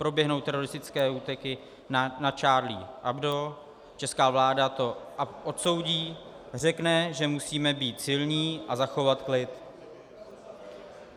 Proběhnou teroristické útoky na Charlie Hebdo - česká vláda to odsoudí, řekne, že musíme být silní a zachovat klid.